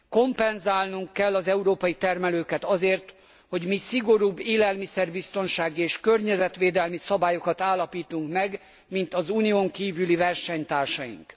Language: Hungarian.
Kompenzálnunk kell az európai termelőket azért, hogy mi szigorúbb élelmiszer biztonsági és környezetvédelmi szabályokat állapítunk meg, mint az Unión kívüli versenytársaink.